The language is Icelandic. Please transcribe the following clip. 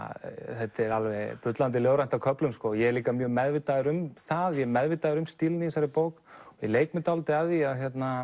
þetta er alveg bullandi ljóðrænt á köflum ég er líka mjög meðvitaður um það ég er meðvitaður um stílinn í þessari bók og leik mér dálítið að því